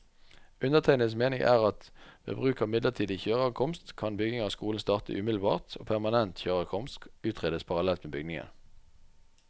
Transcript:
Undertegnedes mening er at ved bruk av midlertidig kjøreadkomst, kan bygging av skolen starte umiddelbart og permanent kjøreadkomst utredes parallelt med byggingen.